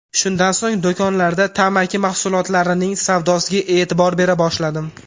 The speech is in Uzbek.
Shundan so‘ng do‘konlarda tamaki mahsulotlarining savdosiga e’tibor bera boshladim.